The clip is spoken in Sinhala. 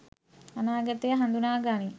අනාගතය හඳුනා ගනී.